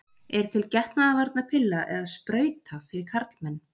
Er til getnaðarvarnarpilla eða-sprauta fyrir karlmenn?